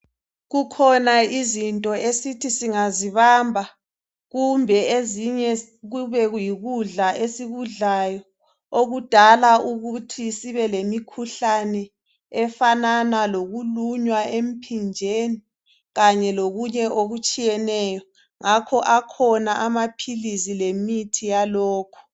Kukhona izinto esithi singazibamba, kumbe ezinye kube yikudla esikudlayo okudala ukuthi sibe lemikhuhlane efanana lokulunywa emphinjeni, kanye lokunye okutshiyeneyo. Ngakho akhona amaphilisi lemithi yalokho.